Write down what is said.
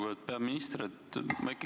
Lugupeetud peaminister!